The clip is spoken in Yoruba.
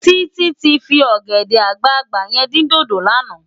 Titi ti fi ògèdè àgbágbá yèn din dódó làná